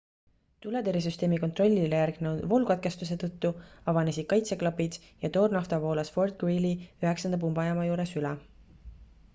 tuletõrjesüsteemi kontrollile järgnenud voolukatkestuse tõttu avanesid kaitseklapid ja toornafta voolas fort greely 9 pumbajaama juures üle